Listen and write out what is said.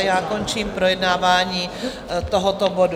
A já končím projednávání tohoto bodu.